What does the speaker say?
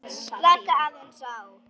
Slaka aðeins á.